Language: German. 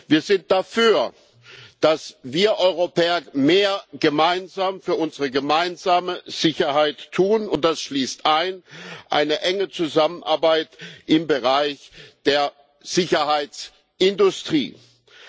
Wir sind dafür, dass wir Europäer mehr gemeinsam für unsere gemeinsame Sicherheit tun, und das schließt eine enge Zusammenarbeit im Bereich der Sicherheitsindustrie ein.